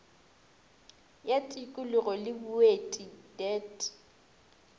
ya tikolog le boeti deat